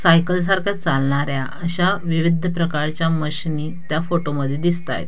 Cycle सारख चालणाऱ्या अशा विविध प्रकारच्या मशिनी त्या फोटो मध्ये दिसताएत.